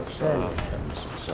Sağ olun, sağ olun.